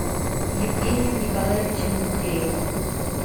евгением николаевичем букреевым